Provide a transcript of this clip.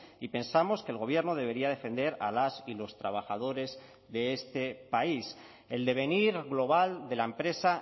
y pensamos que el gobierno debería defender a las y los trabajadores de este país el devenir global de la empresa